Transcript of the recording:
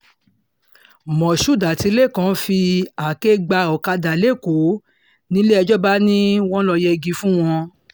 moshood àti lékan fi lekan fi àáké gba ọ̀kadà lẹ́kọ̀ọ́ nílé-ẹjọ́ bá ni wọ́n lọ́ọ́ yẹgi fún wọn